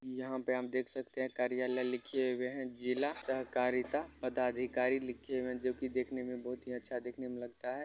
यहां पे हम देख सकते है कार्यालय लिखिए गए है जिला सहकारिता पदाधिकारी लिखे हुए है जो कि देखने में बहोत ही अच्छा देखने में लगता है ।